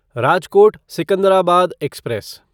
Rajkot Secunderabad express